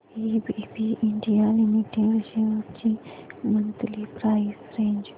ABB India limited shares ची monthly price range